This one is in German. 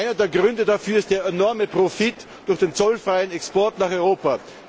Einer der Gründe dafür ist der enorme Profit durch den zollfreien Export nach Europa.